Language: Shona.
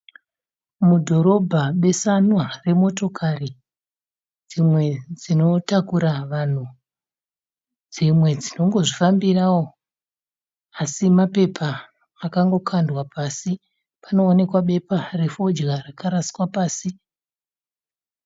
Mudhorobha besanwa remotokari dzimwe dzinotakura vanhu, dzimwe dzinongozvifambarawo hadzo, asi mabepa akangokandwa pasi, panoonekwa bepa refodya rakaraswa pasi.